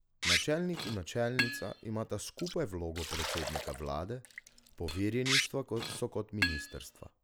Načelnik in načelnica imata skupaj vlogo predsednika vlade, poverjeništva so kot ministrstva.